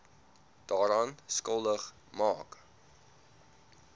daaraan skuldig maak